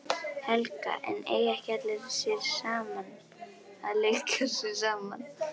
Helga: En eiga ekki allir að leika sér saman?